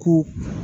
Ko